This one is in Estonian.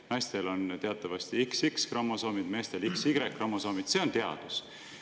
Naistel on teatavasti XX-kromosoomid, meestel XY-kromosoomid – see on teadus.